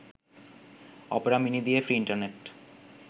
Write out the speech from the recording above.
Opera mini দিয়ে free internet